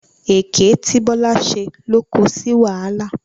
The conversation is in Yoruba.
Èké tí Bọ́lá ṣe ló ko sí wàhálà.